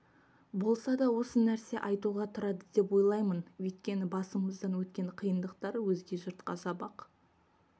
болса да осы нәрсе айтуға тұрады деп ойлаймын өйткені басымыздан өткен қиындықтар өзге жұртқа сабақ